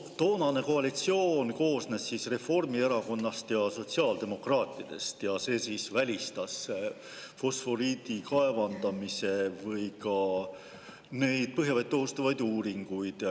" Toonane koalitsioon koosnes Reformierakonnast ja sotsiaaldemokraatidest ja see välistas fosforiidi kaevandamise või ka põhjavett ohustavad uuringud.